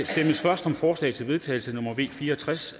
stemmes først om forslag til vedtagelse nummer v fire og tres